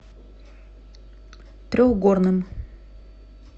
трехгорным